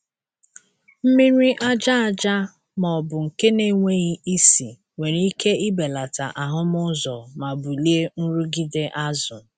Mmiri aja aja ma ọ bụ nke na-enweghị isi nwere ike ibelata ahụmụ ụzọ ma bulie nrụgide azụ.